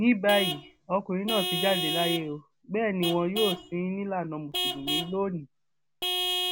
ní báyìí ọkùnrin náà ti jáde láyé ó bẹẹ ni wọn yóò sìn ín nílànà mùsùlùmí lónìín